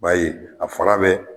Ba ye a bɛ